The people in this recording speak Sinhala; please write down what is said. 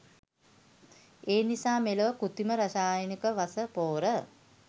එනිසා මෙලොව කෘතීම රසායනික වස පෝර